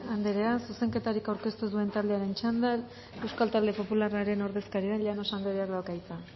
andrea zuzenketarik aurkeztu duen taldearen txandan euskal talde popularraren ordezkaria llanos andreak dauka hitza